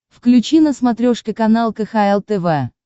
включи на смотрешке канал кхл тв